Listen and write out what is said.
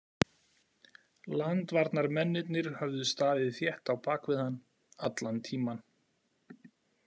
Landvarnarmennirnir höfðu staðið þétt á bak við hann allan tímann.